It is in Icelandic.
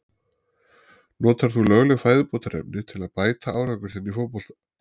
Notar þú lögleg fæðubótarefni til að bæta árangur þinn í fótbolta?